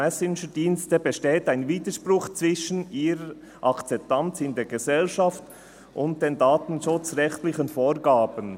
Messengerdienste besteht ein Widerspruch zwischen ihrer Akzeptanz in der Gesellschaft und [den] datenschutzrechtlichen Vorgaben.»